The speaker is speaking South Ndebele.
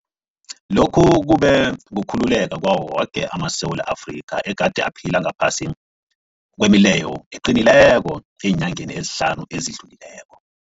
Lokhu kube kukhululeka kwawo woke amaSewula Afrika egade aphila ngaphasi kwemileyo eqinileko eenyangeni ezihlanu ezidlulileko.